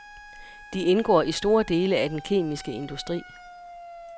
De indgår i store dele af den kemiske industri.